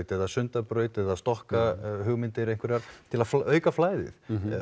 eða Sundabraut eða stokkahugmyndir einhverjar til að auka flæðið